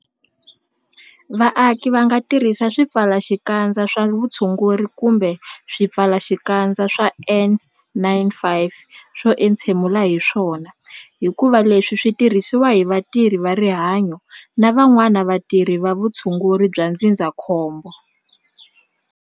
Vaaki va nga tirhisi swipfalaxikandza swa vutshunguri kumbe swipfalaxikandza swa N-95 swo hefemula hi swona hikuva leswi swi tirhisiwa hi vatirhi va rihanyo na van'wana vatirhi va vutshunguri bya ndzindzakhombo.